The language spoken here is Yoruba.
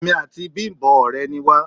Èmi àti Bimbo òré ni wa